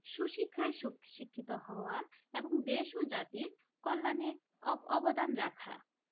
সুশিক্ষায় শিক্ষিত হওয়া এবং দেশ ও জাতির কল্যাণে অবদান রাখা